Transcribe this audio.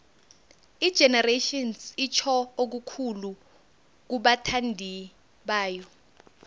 igenerations itjho okukhulu kubathandibayo